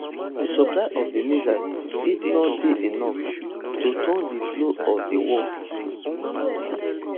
di supply of di missiles fit no dey enough to turn di flow of di war